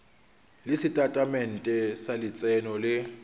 le setatamente sa letseno le